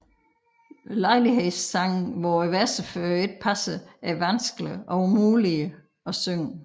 Lejlighedssange hvor versefødderne ikke passer er vanskelige eller umulige at synge